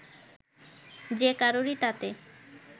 যে কারুরই তাতে